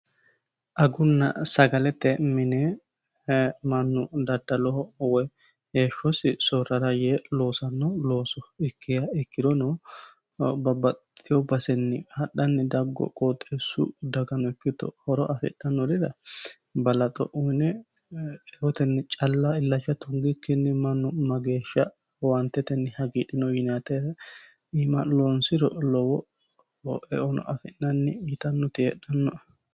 agunna sagalete minee mannu daddaloho woy heeshshosi soorrara yee loosanno looso ikkiha ikkirono babbaxxiteyo basenni hadhanni daggeyo qooxeessu dagano ikkito horo afidhannorira balaxo uyine eotenni calla illacha tungikkinni mannu mageeshsha owaantetenni hagiidhino yiinayiite iima loonsiro lowo eono afi'nanni yitannoti heedhanno"e